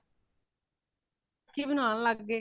ਲੋਕੀ ਬਣਾਣ ਲਗ ਪਏ